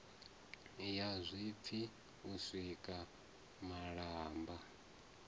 ya zwipfi u sika malamba